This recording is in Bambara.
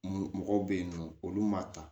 Mun mɔgɔw bɛ yen nɔ olu man taa